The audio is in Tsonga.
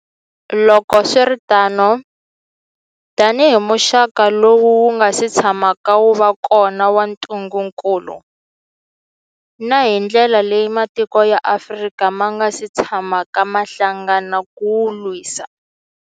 Loko swi ri tano, tanihi muxaka lowu wu nga si tshamaka wu va kona wa ntungukulu, na hi ndlela leyi matiko ya Afrika ma nga si tshamaka ma hlangana ku wu lwisa.